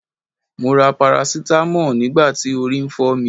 Mo ra parasitamọ́ọ̀ nígbà tí orí ń fọ́ mi.